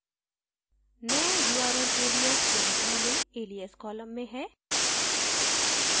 नया url alias यहाँ पहलेalias column में हैं